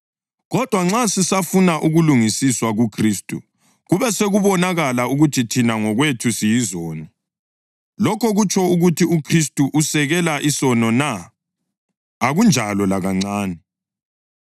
Kodwa nxa sisafuna ukulungisiswa kuKhristu, kube sokubonakala ukuthi thina ngokwethu siyizoni, lokho kutsho ukuthi uKhristu usekela isono na? Akunjalo lakancane!